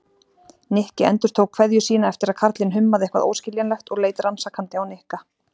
Nikki endurtók kveðju sína eftir að karlinn hummaði eitthvað óskiljanlegt og leit rannsakandi á Nikka.